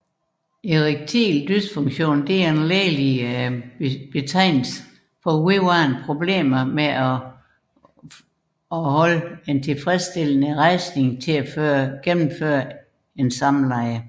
Erektil dysfunktion er en lægelig betegnelse for vedvarende problemer med at opretholde tilfredstillende rejsning til gennemførelse af samleje